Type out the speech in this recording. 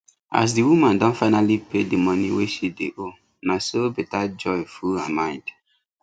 as di woman don finally pay the money wey she dey owe naso better joy just full her mind